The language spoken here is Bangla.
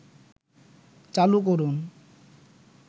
চালু করুন